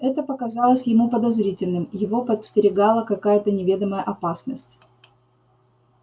это показалось ему подозрительным его подстерегала какая то неведомая опасность